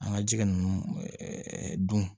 An ka jɛgɛ ninnu dun